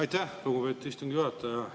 Aitäh, lugupeetud istungi juhataja!